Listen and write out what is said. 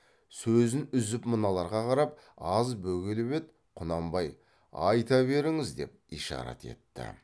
сөзін үзіп мыналарға қарап аз бөгеліп еді құнанбай айта беріңіз деп ишарат етті